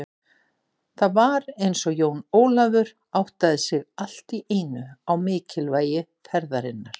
Það var eins og Jón Ólafur áttaði sig allt í einu á mikilvægi ferðarinnar.